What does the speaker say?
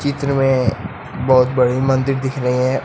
में बहुत बड़ी मंदिर दिख रही है।